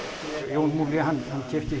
Jón hann keypti